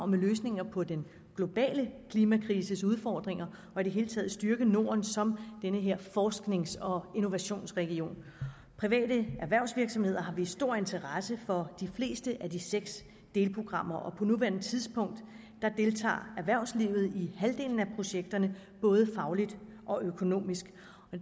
med løsninger på den globale klimakrises udfordringer og i det hele taget styrke norden som forsknings og innovationsregion private erhvervsvirksomheder har vist stor interesse for de fleste af de seks delprogrammer og på nuværende tidspunkt deltager erhvervslivet i halvdelen af projekterne både fagligt og økonomisk